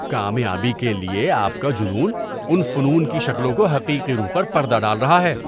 کامیابی کے لیے آپ کا جنون ان فنون کی شکلوں کی حقیقی روح پر پردہ ڈال رہا ہے۔